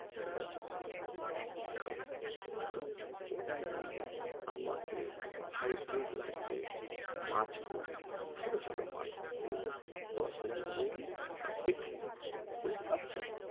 ঠিক আছে চলো তো ওটা এ ই জন্য আমাকে high breed লাগবে মাছ গুলো ছোট ছোট মাছ দেব দশ দিনে তৌরি আর বিক্রি করবো